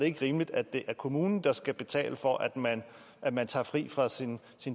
ikke rimeligt at det er kommunen der skal betale for at man at man tager fri fra sin